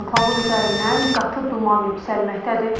Anklavın üzərindən qatı duman yüksəlməkdədir.